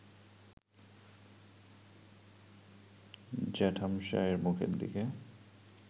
জ্যাঠামশায়ের মুখের দিকে